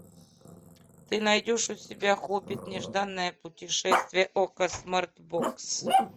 ты найдешь у себя хоббит нежданное путешествие окко смарт бокс